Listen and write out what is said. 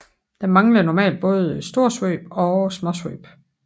Der mangler normalt både storsvøb og småsvøb